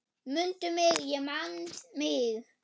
Mundu mig, ég man mig!